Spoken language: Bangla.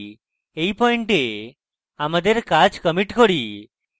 এই পয়েন্টে আমাদের কাজ commit করি